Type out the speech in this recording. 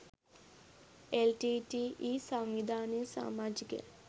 LTTE සංවිධානයේ සාමාජිකයන්